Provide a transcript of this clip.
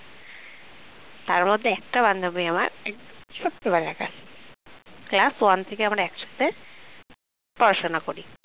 তার মধ্যে একটা বান্ধবী আমার ছোট্টবেলাকার class one থেকে আমরা একসাথে পড়াশোনা করি